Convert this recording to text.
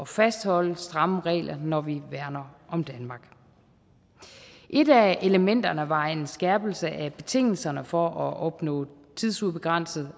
fastholde stramme regler når vi værner om danmark et af elementerne var en skærpelse af betingelserne for at opnå tidsubegrænset